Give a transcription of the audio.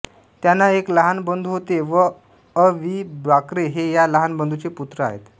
त्यांना एक लहान बंधू होते अ वि बाक्रे हे या लहान बंधूंचे पुत्र आहेत